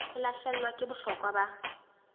e lahlehelwa ke bohlokwa ba